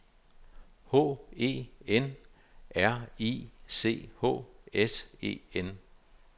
H E N R I C H S E N